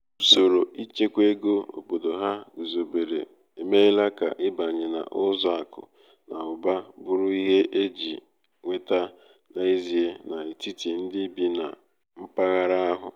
usoro ịchekwa ego obodo ha guzobere emeela ka ịbanye n’ụzọ akụ na ụba bụrụ ihe e ji nweta n’ezie n’etiti ndị bi na mpaghara ahụ